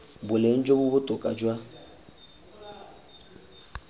boleng jo bo botoka jwa